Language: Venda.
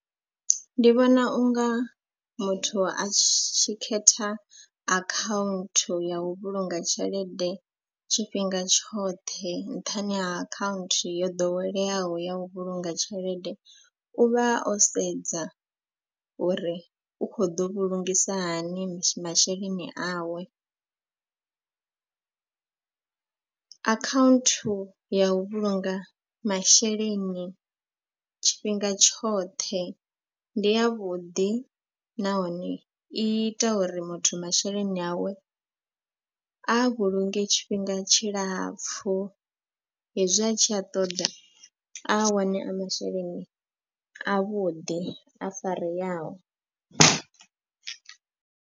Ndi vhona unga muthu a tshi khetha akhaunthu ya u vhulunga tshelede tshifhinga tshoṱhe nṱhani ha akhaunthu yo ḓoweleaho ya u vhulunga tshelede. U vha o sedza uri u kho ḓo vhulungisa hani masheleni awe . Akhaunthu ya u vhulunga masheleni tshifhinga tshoṱhe ndi ya vhuḓi nahone i ita uri muthu masheleni awe a vhulunge tshifhinga tshilapfhu. Hezwi a tshi a ṱoḓa a wane a masheleni avhuḓi a fareaho.